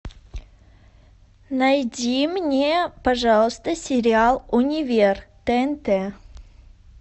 найди мне пожалуйста сериал универ тнт